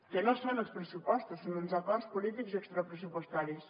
que no són els pressupostos són uns acords polítics i extrapressupostaris